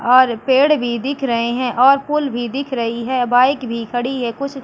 और पेड़ भी दिख रहे है और फुल भी दिख रही है बाइक भी खड़ी है कुछ --